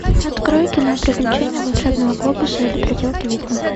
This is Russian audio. открой кино приключения волшебного глобуса или проделки ведьмы